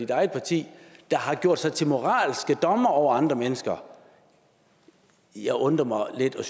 eget parti der har gjort sig til moralske dommere over andre mennesker jeg undrer mig lidt og